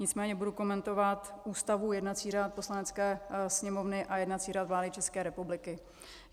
Nicméně budu komentovat Ústavu, jednací řád Poslanecké sněmovny a jednací řád vlády České republiky.